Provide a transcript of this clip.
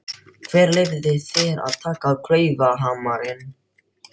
Hver leyfði þér að taka klaufhamarinn?